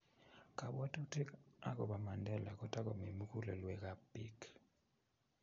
kabwotutik akobo Mandela ko tokomi mukulelwekab biik